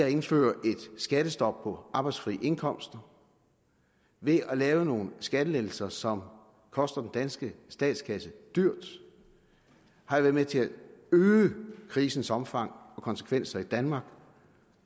at indføre et skattestop på arbejdsfri indkomster ved at lave nogle skattelettelser som koster den danske statskasse dyrt har været med til at øge krisens omfang og konsekvenser i danmark